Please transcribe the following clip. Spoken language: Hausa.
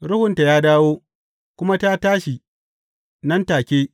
Ruhunta ya dawo, kuma ta tashi, nan take.